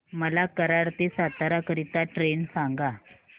मला कराड ते सातारा करीता ट्रेन सांगा